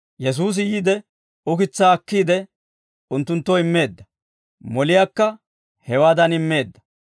Yesuusi yiide, ukitsaa akkiide, unttunttoo immeedda; moliyaakka hewaadan immeedda.